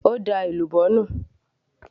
ó da èlùbọ́ nù